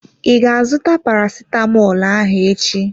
I ga azụta parasitamọl ahụ echi?